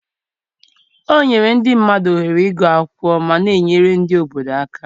o nyere ndị mmadụ ohere ịgụ akwụkwọ ma na-enyere ndị obodo aka.